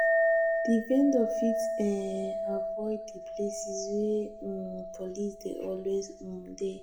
di vendor fit um avoid di places where um police dey always um de